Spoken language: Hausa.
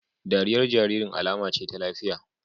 Dariyar jaririn alama ce ta lafiya